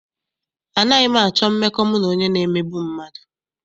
Anaghị m achọ mmekọ mụ na onye na-emegbu mmadụ.